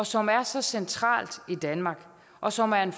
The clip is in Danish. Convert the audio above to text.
som er så centralt i danmark og som er en